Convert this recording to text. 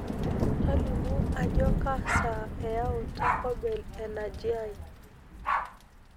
tolimu ajo kaa saa eyauu taco bell enaji ai